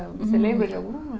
Você lembra de alguma?